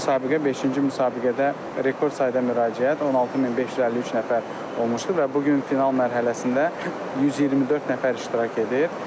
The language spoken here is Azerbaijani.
90-cı müsabiqə beşinci müsabiqədə rekord sayda müraciət 16553 nəfər olmuşdu və bu gün final mərhələsində 124 nəfər iştirak edir.